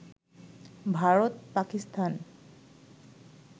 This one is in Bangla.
ভারত, পাকিস্তান